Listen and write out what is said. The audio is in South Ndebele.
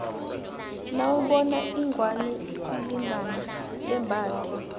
nawubona ingwani ikulingana yembhathe